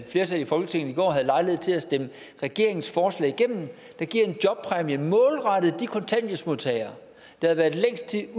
flertal i folketinget i går havde lejlighed til at stemme regeringens forslag igennem der giver en jobpræmie målrettet de kontanthjælpsmodtagere der har været længst tid